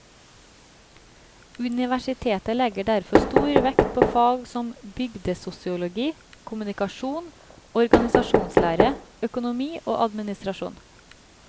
Universitetet legger derfor stor vekt på fag som bygdesosiologi, kommunikasjon, organisasjonslære, økonomi og administrasjon.